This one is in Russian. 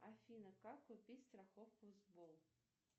афина как купить страховку сбол